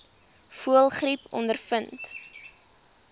voëlgriep ondervind